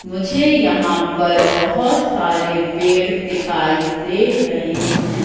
मुझे यहां पर बहुत सारे पेड़ दिखाई दे रहे हैं।